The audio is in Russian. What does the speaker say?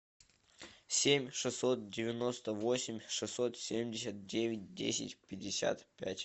семь шестьсот девяносто восемь шестьсот семьдесят девять десять пятьдесят пять